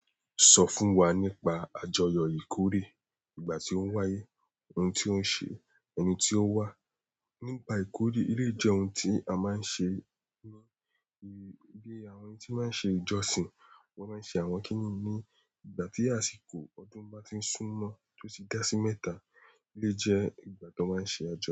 Sọ fún wa nípa àjọyọ̀ ìkórè, ìgbà tí ó ń wáyé, ohun tí ó ń ṣe, ẹni tí ó wà. Nípa ìkórè, eleyi jẹ́ ohun tí a máa ń ṣe ń náà, bí i àwọn ẹni tí máa ń ṣe ìjọsìn, wọ́n máa ń ṣe àwọn kíní ní ìgbà tí àsìkò ọdún bá ti súnmọ́ tó sì dá sí mẹ́ta, eleyi jẹ́ ìgbà tó máa ń ṣe àjọyọ̀